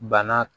Bana